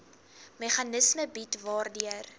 meganisme bied waardeur